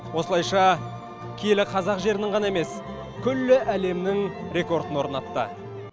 осылайша киелі қазақ жерінің ғана емес күллі әлемнің рекордын орнатты